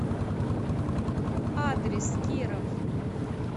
адрес киров